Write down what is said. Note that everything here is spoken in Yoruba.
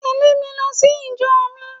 Tèlé mi lo sí ìjo mi